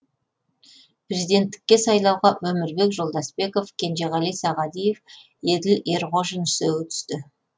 президенттікке сайлауға өмірбек жолдасбеков кенжеғали сағадиев еділ ерғожин үшеуі түсті